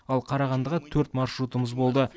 ал қарағандыға төрт маршрутымыз болды